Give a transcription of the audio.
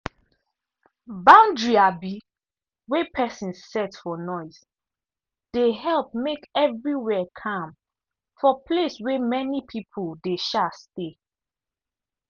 boundary um wey pesin set for noise dey help make everywhere calm for place wey many people dey um stay.